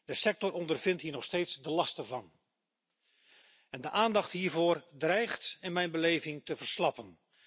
De sector ondervindt hier nog steeds de lasten van en de aandacht hiervoor dreigt in mijn beleving te verslappen.